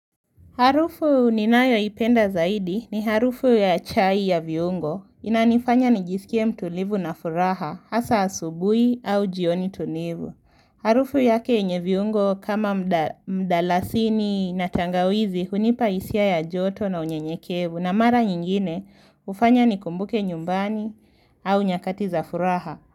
Harufu ninayoipenda zaidi ni harufu ya chai ya viungo. Inanifanya nijisikie mtulivu na furaha, hasa asubuhi au jioni tulivu. Harufu yake yenye viungo kama mdalasini na tangawizi hunipa hisia ya joto na unyenyekevu. Na mara nyingine hufanya nikumbuke nyumbani au nyakati za furaha.